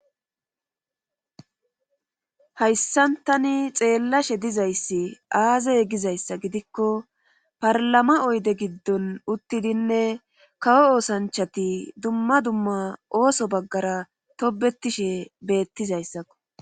Hayssantani xeellashe dizayssi aazaye gizayssa gidikko parlama oyde giddon uttidinne kawo oosanchati dumma dumma ooso baggara tobetishe beettizayssakko